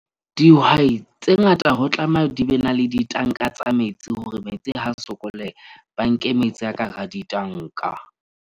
Dihwai tse ngata ho tlameha di be na le ditanka tsa metsi hore metsi ha sokoleha, ba nke metsi a ka hara ditanka.